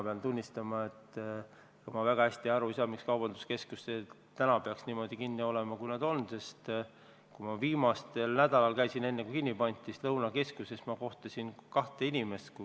Pean tunnistama, et ma väga hästi aru ei saa, miks peaks kaubanduskeskused täna niimoodi kinni olema, sest kui ma viimasel nädalal, enne kui need kinni pandi, Lõunakeskuses käisin, kohtasin kahte inimest.